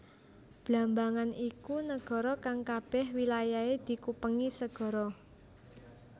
Blambangan iku negara kang kabeh wilayahe dikupengi segara